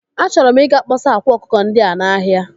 Achọrọ m ị ga kpọsa akwa akụkọ ndị a n'ahia.